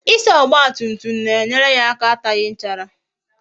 Ịsa ọgba tum tum na-enyere ya aka ataghi nchara